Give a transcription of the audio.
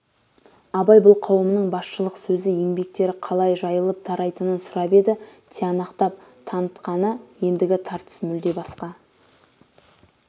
абай бұл қауымның басшылықсөзі еңбектері қалай жайы-лып тарайтынын сұрап еді тиянақтап танытқаны ендігі тартыс мүлде басқа